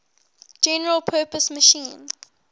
general purpose machine